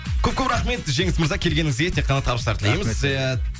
көп көп рахмет жеңіс мырза келгеніңізге тек қана табыстар тілейміз рахмет ия